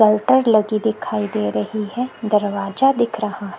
Shelter लगी दिखाई दे रही है दरवाजा दिख रहा हैं।